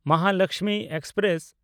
Mahalaxmi express